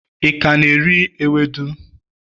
i ka na-eri ewedu?